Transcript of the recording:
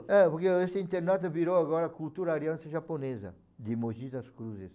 É, porque esse internato virou agora cultura aliança japonesa, de Mogi das Cruzes.